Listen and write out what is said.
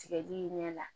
Tigɛli ɲɛ la